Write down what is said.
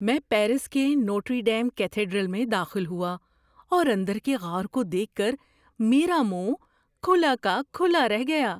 میں پیرس کے Notre Dame cathedral میں داخل ہوا، اور اندر کے غار کو دیکھ کر میرا منہ کھلا کا کھلا رہ گیا۔